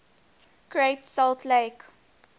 great salt lake